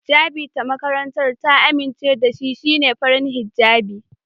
Hijjabi da makarantar ta amince da shi shine farin hijjabi.